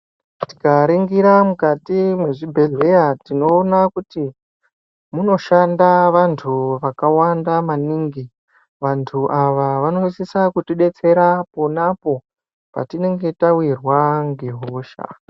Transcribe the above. Tikaringira mukati mwezvibhehleya tinoona kuti munoshanda vantu vakawanda maningi. Vantu ava vanosise kutidetsera ponapo patinenge tawirwa ngehosha.